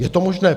Je to možné?